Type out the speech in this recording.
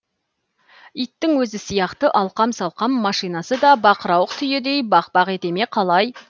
иттің өзі сияқты алқам салқам машинасы да бақырауық түйедей бақ бақ ете ме қалай